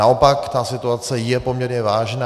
Naopak, ta situace je poměrně vážná.